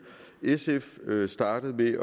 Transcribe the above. sf startede med at